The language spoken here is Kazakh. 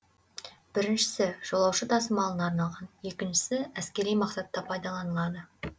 біріншісі жолаушы тасымалына арналған екіншісі әскери мақсатта пайдаланылады